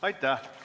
Aitäh!